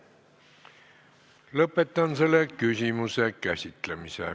Lõpetan selle küsimuse käsitlemise.